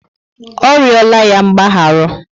Ọ riola ya mgbaharu